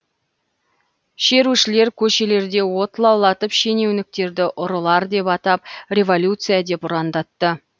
шерушілер көшелерде от лаулатып шенеуніктерді ұрылар деп атап революция деп ұрандатты